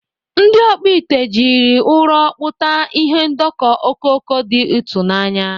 Ndị ọkpụ ite jiri ụrọ kpụta ihe ndọkọ okoko dị ịtụnanya.